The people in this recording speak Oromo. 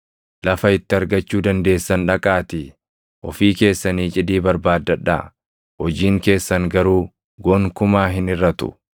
Lafa itti argachuu dandeessan dhaqaatii ofii keessanii cidii barbaaddadhaa; hojiin keessan garuu gonkumaa hin hirʼatu.’ ”